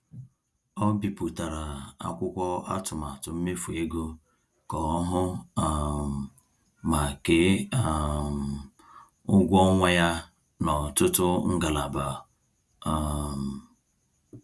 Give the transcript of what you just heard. Ọ bipụtara akwụkwọ atụmatụ mmefu ego ka ọ hụ um ma kee um ụgwọ ọnwa ya n’ọtụtụ ngalaba. um